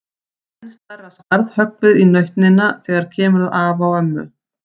Enn stærra skarð höggvið í nautnina þegar kemur að afa og ömmu.